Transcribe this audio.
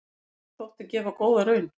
Það þótti gefa góða raun.